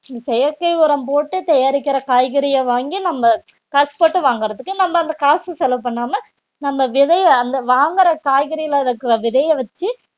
செயற்கை உரம் போட்டு தயாரிக்கிற காய்கறிய வாங்கி நம்ம காசுபோட்டு வாங்கறதுக்கு நம்ம அந்த காசு செலவு பண்ணாம நம்ம விதைய அந்த வாங்குற காய்கறியில இருக்கிற விதைய வச்சு